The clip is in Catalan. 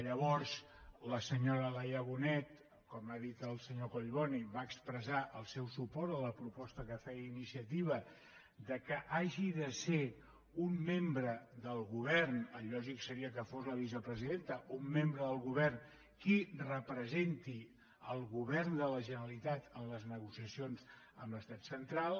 llavors la senyora laia bonet com ha dit el senyor collboni va expressar el seu suport a la proposta que feia iniciativa que hagi de ser un membre del govern el lògic seria que fos la vicepresidenta qui representi el govern de la generalitat en les negociacions amb l’estat central